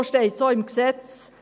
Und so steht es auch im Gesetz.